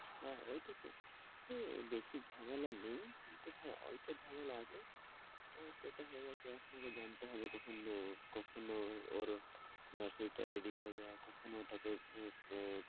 হ্যাঁ ঐটাই তো। হ্যাঁ বেশি ঝামেলা নেই কিন্তু হ্যাঁ অল্প ঝামেলা আছে। আহ সেটা হয়ে গেছে আপনাকে জানতে হবে কখনো কখনো ওর nursery টা ready হয়ে যায় আর কখন ঐটাকে আহ